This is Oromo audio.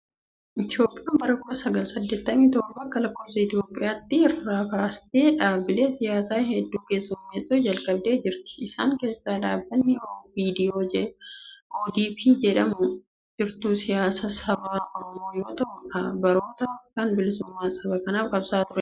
Itoophiyaan bara 1987 A.L.I tti irraa kaastee dhaabbilee siyaasaa hedduu keessummeessuu jalqabdee jirti. Isaan keessaa dhaabbanni ODP jedhamu gartuu siyaasaa saba Oromoo yoo ta'u, barootaaf kan bilisummaa saba kanaaf qabsaa'aa turedha.